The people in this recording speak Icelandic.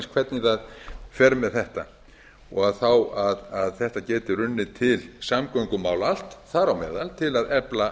hvernig það fer með þetta og þá að þetta geti runnið til samgöngumála allt þar á meðal til að efla